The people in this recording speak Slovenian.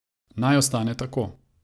Naj ostane tako.